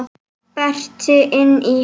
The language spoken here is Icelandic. Berti inn í.